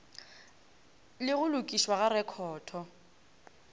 le go lokišwa ga rekhoto